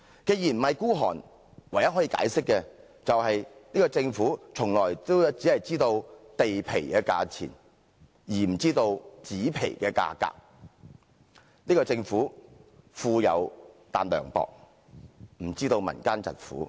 既然不是孤寒，唯一可以解釋的是，這個政府從來只知道地皮的價錢，而不知紙皮的價格，這個政府富有但涼薄，不理會民間疾苦。